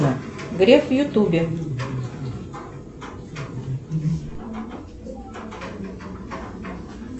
греф в ютубе